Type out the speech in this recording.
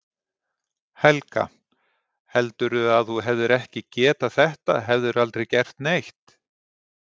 Helga: Heldurðu að þú hefðir ekki getað þetta hefðirðu aldrei gert neitt?